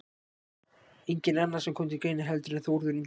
Enginn annar sem kom til greina heldur en Þórður Ingason